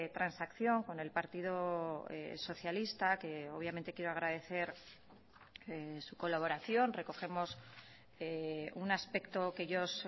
transacción con el partido socialista que obviamente quiero agradecer su colaboración recogemos un aspecto que ellos